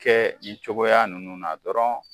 Kɛ nin cogoya ninnu na dɔrɔn